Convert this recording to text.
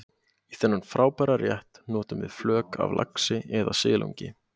Í þennan frábæra rétt notum við flök af laxi eða silungi.